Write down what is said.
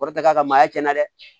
Kɔrɔ tɛ k'a ka maa tiɲɛna dɛ